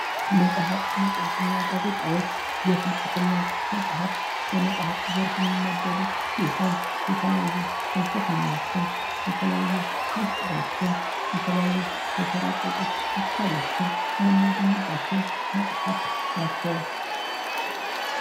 መጽሀፍት ፣ መጽሔት እና ጋዜጣዎች የፍልስፍና መጽሀፍት በመጽሀፍት ዘርፍ የሚመደቡ ሲሆን የተለያዩ ፍልስፍናዎችን፣ የተለያዩ ሚስጥሮችን ፣ የተለያዩ የተራቀቁ ሀሳቦችን ምናገኝባቸው መጽሀፍት ናቸው።